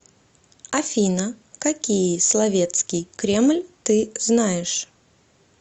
афина какие соловецкий кремль ты знаешь